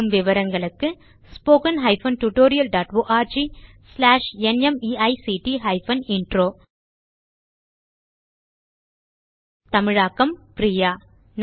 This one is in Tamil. மேலும் விவரங்களுக்கு spoken hyphen tutorial dot org slash NMEICT hyphen intro தமிழாக்கம் பிரியா